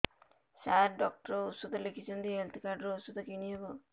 ସାର doctor ଔଷଧ ଲେଖିଛନ୍ତି health card ରୁ ଔଷଧ କିଣି ହେବ